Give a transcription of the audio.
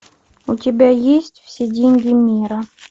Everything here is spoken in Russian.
у тебя есть все деньги мира